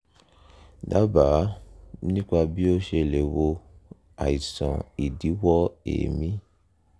dábàá nípa bí ó ṣe lè wo àìsàn ìdíwọ́ èémí